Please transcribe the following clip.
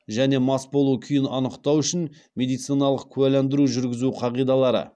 және мас болу күйін анықтау үшін медициналық куәландыру жүргізу қағидалары